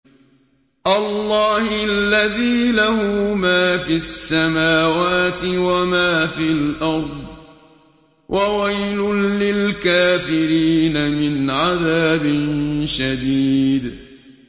اللَّهِ الَّذِي لَهُ مَا فِي السَّمَاوَاتِ وَمَا فِي الْأَرْضِ ۗ وَوَيْلٌ لِّلْكَافِرِينَ مِنْ عَذَابٍ شَدِيدٍ